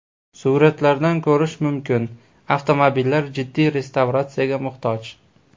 Suratlardan ko‘rish mumkin, avtomobillar jiddiy restavratsiyaga muhtoj.